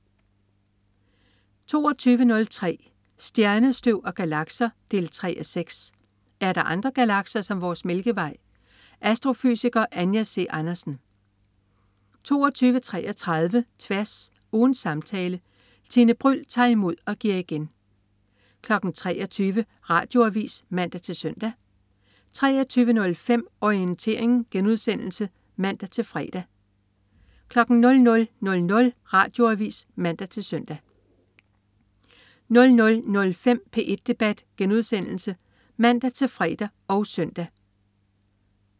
22.03 Stjernestøv og galakser 3:6. Er andre galakser som vores Mælkevej? Astrofysiker Anja C. Andersen 22.33 Tværs. Ugens samtale. Tine Bryld tager imod og giver igen 23.00 Radioavis (man-søn) 23.05 Orientering* (man-fre) 00.00 Radioavis (man-søn) 00.05 P1 debat* (man-fre og søn)